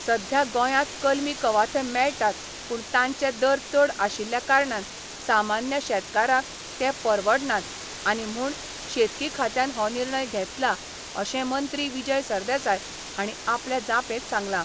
सध्या गोंयात कलमी कवाथे मेळटात पूण तांचे दर चड आशिल्ल्या कारणान सामान्य शेतकारांक ते परवडनांत आनी म्हूण शेतकी खात्यान हो निर्णय घेतला अशें मंत्री विजय सरदेसाय हांणी आपल्या जापेंत सांगलां.